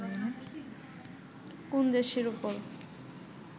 কোন দেশের উপর